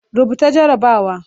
Rubuta jarrabawa